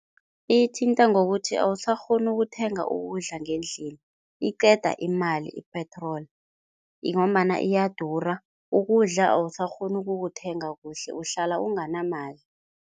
Ithinta ngokuthi awusakghoni ukuthenga ukudla ngendlini, iqeda imali ipetroli ngombana iyadura, ukudla awusakghoni ukukuthenga kuhle, uhlala unganamali.